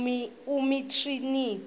umtriniti